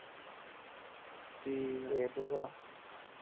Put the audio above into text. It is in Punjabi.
ਠੀਕਾ .।